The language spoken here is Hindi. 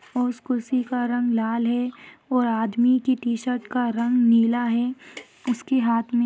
और उस कुर्सी का रंग लाल है और आदमी कि टी-शर्ट का रंग नीला है। उसके हाँथ में--